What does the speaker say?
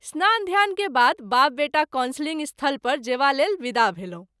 स्नान ध्यान के बाद बाप बेटा कॉन्सिलिंग स्थल पर जेबा लेल विदा भेलहुँ।